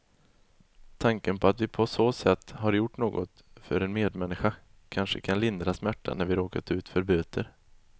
Tanken på att vi på så sätt har gjort något för en medmänniska kanske kan lindra smärtan när vi råkat ut för böter.